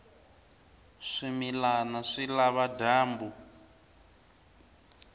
swimilana swi lava dyambu